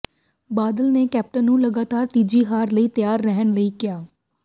ਬਾਦਲ ਨੇ ਕੈਪਟਨ ਨੂੰ ਲਗਾਤਾਰ ਤੀਜੀ ਹਾਰ ਲਈ ਤਿਆਰ ਰਹਿਣ ਲਈ ਕਿਹਾ